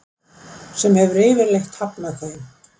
sem hefur yfirleitt hafnað þeim.